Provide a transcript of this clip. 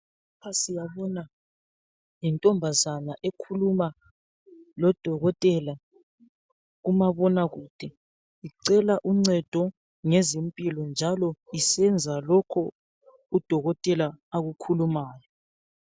Lapha siyabona. Yintombazana ekhuluma lodokotela kumabonakude. Icela uncedo ngezempilo, njalo isenza lokho udokotela akukhulumayo.